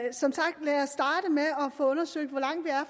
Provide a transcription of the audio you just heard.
få undersøgt hvor langt vi er